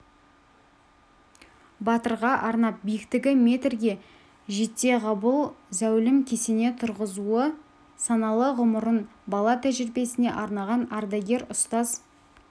батырға арнап биіктігі метрге жетеғабыл зәулім кесене тұрғызуы саналы ғұмырын бала тәрбиесіне арнаған ардагер ұстаз